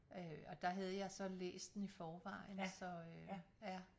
Og der havde jeg så læst den i forvejen så øh ja